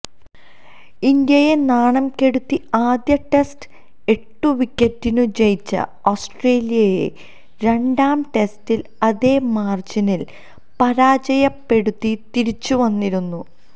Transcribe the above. ഇന്ത്യയെ നാണംകെടുത്തി ആദ്യ ടെസ്റ്റ് എട്ടുവിക്കറ്റിനു ജയിച്ച ഓസ്ട്രേലിയയെ രണ്ടാം ടെസ്റ്റില് അതേമാര്ജിനില് പരാജയപ്പെടുത്തി തിരിച്ചുവന്നിരുന്നു